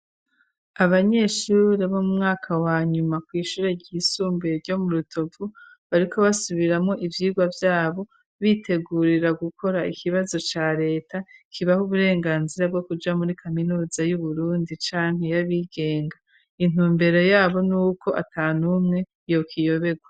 Abanyeshuri bo mu mwaka wa nyuma kw'ishure ryisumbuye ryo mu Rutovu, bariko basubiramwo ivyirwa vyabo, bitegurira gukora ikibazo ca leta, kibaha uburenganzira bwo kuja muri kaminuza y'Uburundi canke y'abigenga. Intumbere yabo n'uko atanumwe yokiyoberwa.